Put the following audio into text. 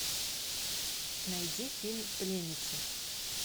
найди фильм пленница